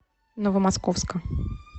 новомосковска